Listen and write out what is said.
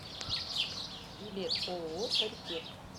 билет ооо паритет